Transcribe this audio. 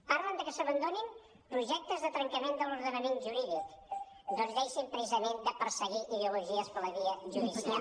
parlen que s’abandonin projectes de trencament de l’ordenament ju·rídic doncs deixin precisament de perseguir ideologies per la via judicial